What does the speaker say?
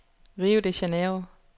Rio de Janeiro